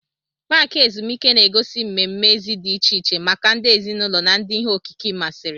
Paaki ezumike na-egosi mmemme èzí dị iche iche maka ndị ezinụlọ na ndị ihe okike masịrị.